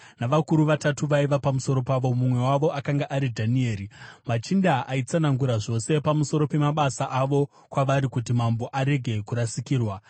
navakuru vatatu vaiva pamusoro pavo, mumwe wavo akanga ari Dhanieri. Machinda aitsanangura zvose pamusoro pemabasa avo kwavari kuti mambo arege kurasikirwa.